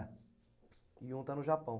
É. E um está no Japão?